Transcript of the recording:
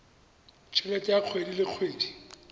helete ya kgwedi le kgwedi